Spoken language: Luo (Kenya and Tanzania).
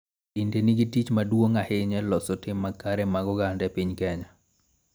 Dinde nigi tich maduong' ahinya e loso tim makare mag oganda e piny Kenya.